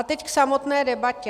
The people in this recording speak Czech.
A teď k samotné debatě.